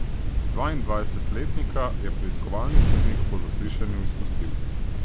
Dvaindvajsetletnika je preiskovalni sodnik po zaslišanju izpustil.